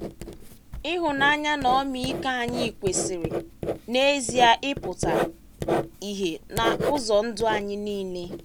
Ịhụnanya na ọmịiko anyị kwesịrị, n’ezie, ịpụta ìhè n’ụzọ ndụ anyị niile.